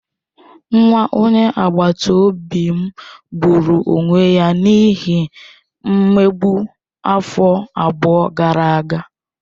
Nwa onye agbata obi m gburu onwe ya n'ihi mmegbu afọ abụọ gara aga.